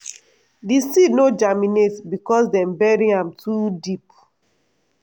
di seed no germinate because dem bury am too deep.